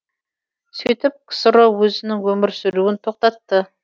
сөйтіп ксро өзінің өмір сүруін тоқтатты